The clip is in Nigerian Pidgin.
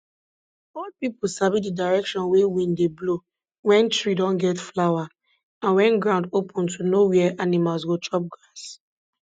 old pipu sabi di direction wey wind dey blow wen tree don get flower and wen ground open to know where animals go chop grass